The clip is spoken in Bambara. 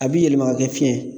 A bi yɛlɛma ka kɛ fiɲɛ ye